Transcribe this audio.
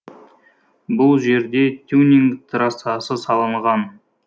бұл жерде тюнинг трассасы салынған